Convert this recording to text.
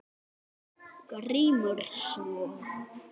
GRÍMUR: Svo?